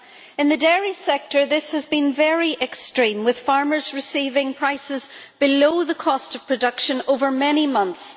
In the dairy sector this has been very extreme, with farmers receiving prices below the cost of production over many months.